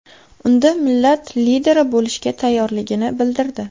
Unda millat lideri bo‘lishga tayyorligini bildirdi.